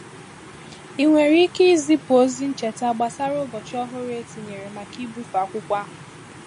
Ị nwere ike izipu ozi ncheta gbasara ụbọchị ọhụrụ e tinyere maka ịbufe akwụkwọ ahụ?